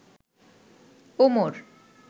Omar